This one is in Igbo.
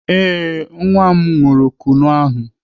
Ee, nwa m ṅụrụ Kunu ahụ.